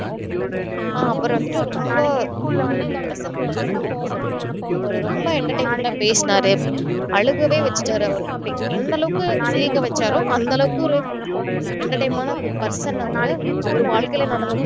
ஆஹ் அப்புறம் வந்துட்டு ரொம்ப wonderful question னு கூட சொல்லணும் இப்போ ஒரு ரொம்ப entertainment ஆ பேசுனாரு அழுகவே வச்சிட்டாரு அவரு எந்த அளவுக்கு சிரிக்க வச்சாரோ அந்த அளவுக்கு அவரு entertainment ஆன person அவரு அவரு வாழ்க்கையில நடந்த